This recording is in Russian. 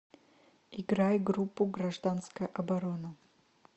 играй группу гражданская оборона